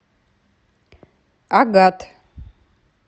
агат